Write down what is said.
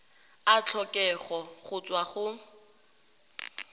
a tlhokega go tswa go